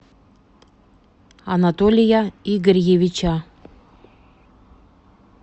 анатолия игорьевича